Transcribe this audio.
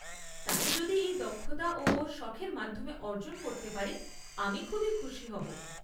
তাই যদি এই দক্ষতা ও ওর শখের মাধ্যমে অর্জন করতে পারে আমি খুবই খুশি হব।